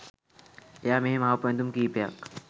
එයා මෙහේ මහපු ඇඳුම් කීපයක්